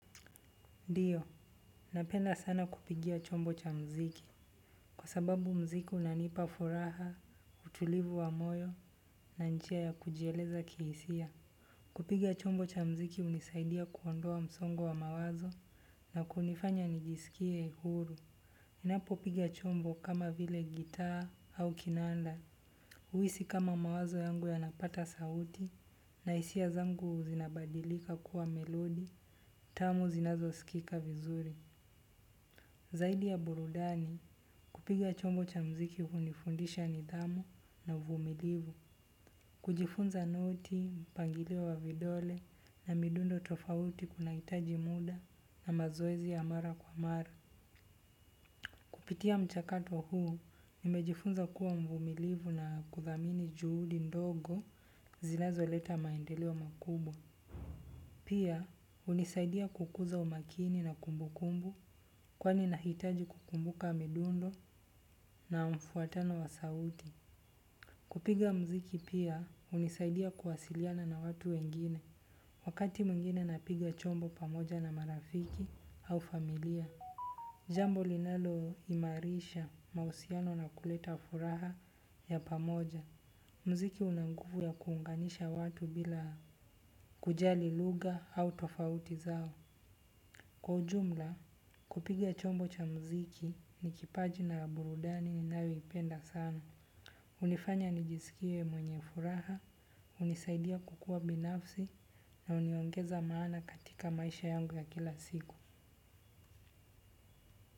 Ndiyo, napenda sana kupigiwa chombo cha muziki. Kwa sababu muziki unanipa furaha, utulivu wa moyo, na njia ya kujieleza kihisia. Kupiga chombo cha mziki hunisaidia kuondoa msongo wa mawazo na kunifanya nijisikie uhuru. Ninapopiga chombo kama vile gitaa au kinanda. Uhisi kama mawazo yangu yanapata sauti na hisia zangu zinabadilika kuwa melodi, tamu zinazosikika vizuri. Zaidi ya burudani kupiga chombo cha muziki hunifundisha nidhamu na uvumilivu. Kujifunza noti, mpangilio wa vidole na midundo tofauti kunahitaji muda na mazoezi ya mara kwa mara. Kupitia mchakatohuu nimejifunza kuwa mvumilivu na kuthamini juhudi ndogo zinazoleta maendeleo makubwa. Pia hunisaidia kukuza umakini na kumbukumbu kwani nahitaji kukumbuka midundo na mfuatano wa sauti. Kupiga muziki pia hunisaidia kuwasiliana na watu wengine wakati mwingine napiga chombo pamoja na marafiki au familia. Jambo linaloimarisha mahusiano na kuleta furaha ya pamoja. Muziki una nguvu ya kuunganisha watu bila kujali lugha au tofauti zao. Kwa ujumla, kupiga chombo cha muziki ni kipaji na burudani ninayoipenda sana. Hunifanya nijisikie mwenye furaha, hunisaidia kukua binafsi na huniongeza maana katika maisha yangu ya kila siku.